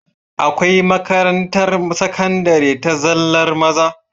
Akwai makarantar sakandari ta zallar maza